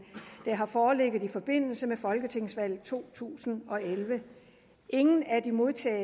der har foreligget i forbindelse med folketingsvalget to tusind og elleve ingen af de modtagne